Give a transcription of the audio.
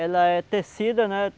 Ela é tecida, né?